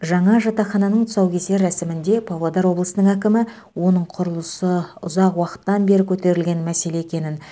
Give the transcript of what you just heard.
жаңа жатақхананың тұсаукесер рәсімінде павлодар облысының әкімі оның құрылысы ұзақ уақыттан бері көтерілген мәселе екенін